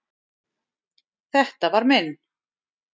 Þetta var minn.